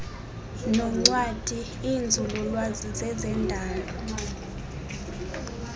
noncwadi iinzululwazi zezendalo